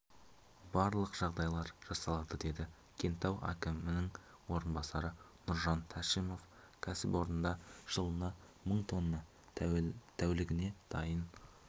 барлық жағдайлар жасалады деді кентау әкімінің орынбасары нұржан тәшімов кәсіпорында жылына мың тонна тәулігіне дайын